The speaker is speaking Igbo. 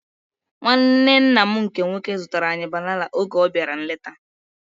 Nwanne nna m nke nwoke zụtara anyị banana oge ọ bịara nleta